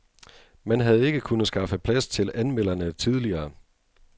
Man havde ikke kunnet skaffe plads til anmelderne tidligere.